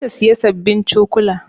Umma za ta siya sabbin cokula